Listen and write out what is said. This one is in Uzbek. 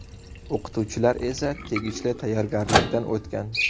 O‘qituvchilar esa tegishli tayyorgarlikdan o‘tgan.